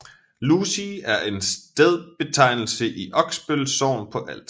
Lusig er en stedbetegnelse i Oksbøl Sogn på Als